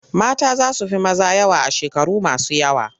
Mata za su fi maza yawa a shekaru masu yawa.